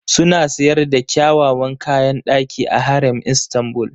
Suna sayar da kyawawan kayan ɗaki a Harem Istanbul.